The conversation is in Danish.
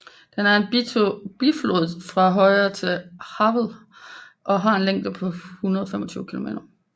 Den er en biflod fra højre til Havel og har en længde på 125 km